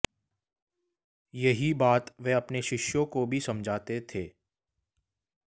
यही बात वे अपने शिष्यों को भी समझाते थे